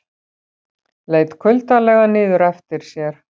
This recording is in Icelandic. Leit kuldalega niður eftir sér.